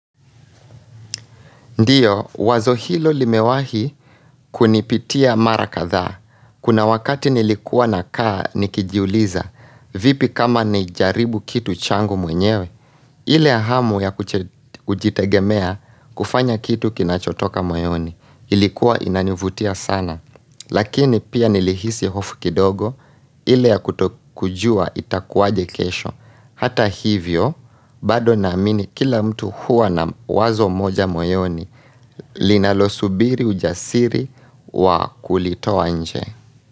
Ndiyo, wazo hilo limewahi kunipitia mara kadhaa. Kuna wakati nilikuwa nakaa nikijuliza. Vipi kama nijaribu kitu changu mwenyewe. Ile hamu ya kujitegemea kufanya kitu kinachotoka moyoni. Ilikuwa inanivutia sana. Lakini pia nilihisi hofu kidogo, ile ya kutokujua itakuwaje kesho. Hata hivyo, bado naamini kila mtu huwa na wazo moja moyoni, linalosubiri ujasiri wa kulitoa nje.